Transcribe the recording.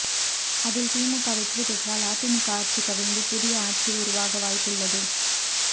அதில் திமுக வெற்றி பெற்றால் அதிமுக ஆட்சி கவிழ்ந்து புதிய ஆட்சி உருவாக வாய்ப்புள்ளது